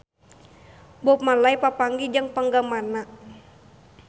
Bob Marley papanggih jeung penggemarna